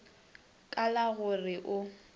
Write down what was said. ka la go re o